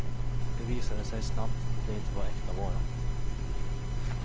Det visade sig snabbt att det inte var äkta vara.